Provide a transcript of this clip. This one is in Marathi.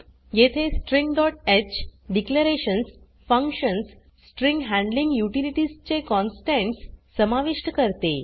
येथे stringह declarations functions string handling utilities चे कॉन्स्टंट्स समाविष्ट करते